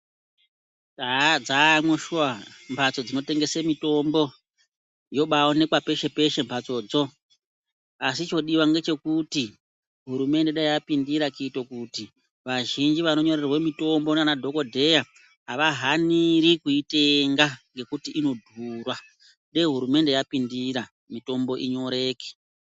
Haa dzaamwo shuwa mbatso dzinotengese mitombo, yobaonekwa peshe peshe mbatsodzo asi chodiwa ngechekuti dai hurumende yapindira kuito kuti vazhinji vanonyorerwa mitombo ndiana dhokodheya avahaniri kuitenga ngekuti inodhura. Dei hurumende yapindira mitombo inyoreke.